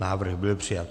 Návrh byl přijat.